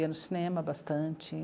Ia no cinema bastante.